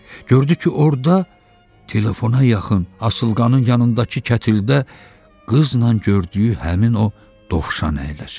Gördü ki, orda telefona yaxın, asılqanın yanındakı kətildə qızla gördüyü həmin o dovşan əyləşib.